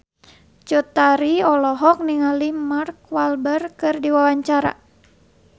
Cut Tari olohok ningali Mark Walberg keur diwawancara